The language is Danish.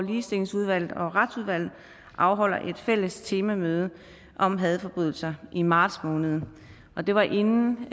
ligestillingsudvalget og retsudvalget afholder et fælles temamøde om hadforbrydelser i marts måned og det var inden